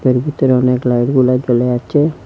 এর ভিতরে অনেক লাইটগুলা জ্বলে আছে।